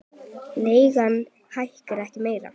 Leigan hækki ekki meira.